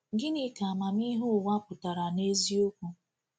Gịnị ka amamihe ụwa pụtara n’eziokwu?